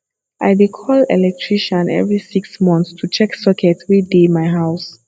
i dey call electrician every six months to check sockets wey dey my house